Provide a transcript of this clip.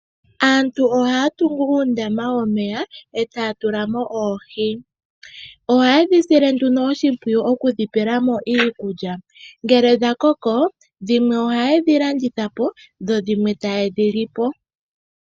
Aantu ohaya tungu uundama womeya etaya tulamo oohi. Ohaye dhi sile oshimpwiyu okudhi pelamo iikulya. Ngele dhakoko ohaye dhi landitha po.